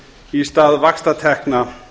í stað vaxtatekna